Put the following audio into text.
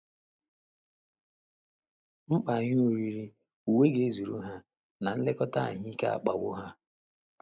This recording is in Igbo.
Mkpa ihe oriri, uwe ga - ezuru ha, na nlekọta ahụ́ ike akpawo ha.